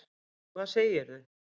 Og hvað segirðu?